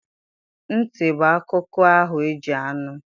Ntị bụ akụkụ ahụ eji anụ